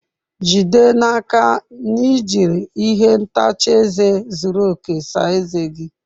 Jide n'aka na i jiri ihe ntacha eze zuru oke saa ezé gị!